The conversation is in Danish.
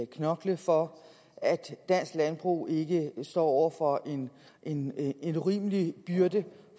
knokle for at dansk landbrug ikke står over for en urimelig byrde